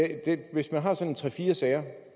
hvis man har sådan tre fire sager